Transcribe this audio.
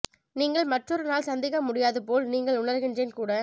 நீங்கள் மற்றொரு நாள் சந்திக்க முடியாது போல் நீங்கள் உணர்கிறேன் கூட